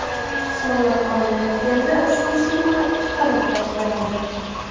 Soliq olinayotganda ushbu summa chiqarib tashlanadi.